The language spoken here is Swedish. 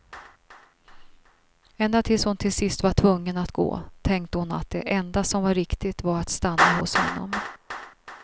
Ända tills hon till sist var tvungen att gå tänkte hon att det enda som var riktigt var att stanna hos honom.